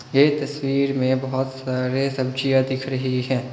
ये तस्वीर में बहुत सारे सब्जियां दिख रही हैं।